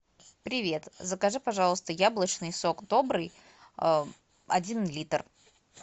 привет закажи пожалуйста яблочный сок добрый один литр